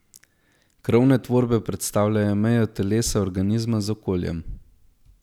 Krovne tvorbe predstavljajo mejo telesa organizma z okoljem.